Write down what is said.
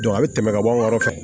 a bɛ tɛmɛ ka bɔ an ka yɔrɔ fɛ